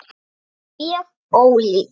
Mjög ólík.